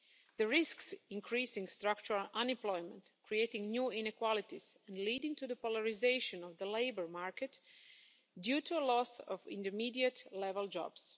This risks increasing structural unemployment, creating new inequalities and leading to the polarisation of the labour market due to a loss of intermediate level jobs.